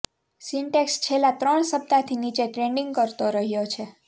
syntax છેલ્લા ત્રણ સપ્તાહથી નીચે ટ્રેડિંગ કરતો રહ્યો છે